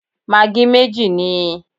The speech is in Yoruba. Magí méjì níi